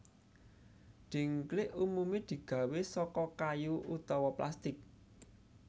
Dhingklik umumé digawé saka kayu utawa plastik